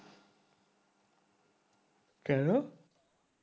কেন